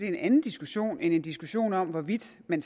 en anden diskussion end en diskussion om hvorvidt man